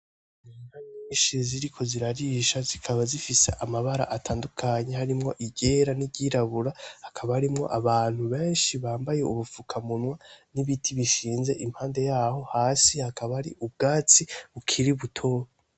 Inka nyinshi ziriko zirarisha zikaba zifise amabara atandukanye harimwo iryera n'iryirabura hakaba harimwo abantu benshi bambaye ubufukamunwa n'ibiti bishinze impande yaho hasi hakaba hari ubwatsi bukiri buto.